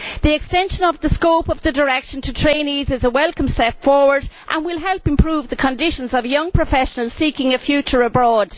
The extension of the scope of the directive to trainees is a welcome step forward and will help to improve the conditions of young professionals seeking a future abroad.